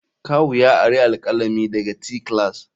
Kawu ya ari alkalami daga te class.